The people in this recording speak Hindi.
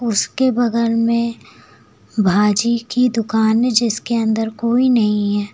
उसके बगल में भाजी की दुकान है जिसके अंदर कोई नहीं है।